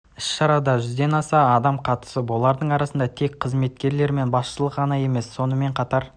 іс-шарада жүзден аса адам қатысты олардың арасында тек жас қызметкерлер мен басшылық ғана емес сонымен қатар